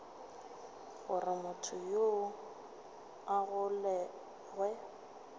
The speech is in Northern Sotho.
gore motho yoo a golegwe